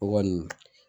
O kɔni